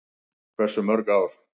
Hversu mörg ár?